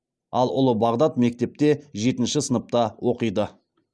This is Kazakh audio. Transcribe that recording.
ал ұлы бағдат мектепте жетінші сыныпта оқиды